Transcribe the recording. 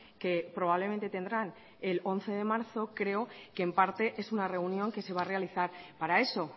que probablemente tendrán el once de marzo creo que en parte es una reunión que se va a realizar para eso